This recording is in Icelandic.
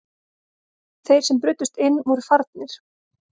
Þeir sem brutust inn voru farnir